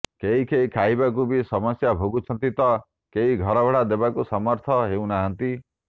କେହିକେହି ଖାଇବାକୁ ବି ସମସ୍ୟା ଭୋଗୁଛନ୍ତି ତ କେହି ଘର ଭଡ଼ା ଦେବାକୁ ସମର୍ଥ ହେଉନାହାନ୍ତି